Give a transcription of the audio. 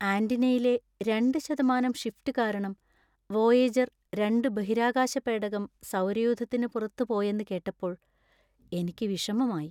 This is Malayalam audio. ആന്റിനയിലെ രണ്ട് ശതമാനം ഷിഫ്റ്റ് കാരണം വോയേജർ രണ്ട് ബഹിരാകാശ പേടകം സൗരയൂഥത്തിന് പുറത്ത് പോയെന്ന് കേട്ടപ്പോൾ എനിക്ക് വിഷമമായി.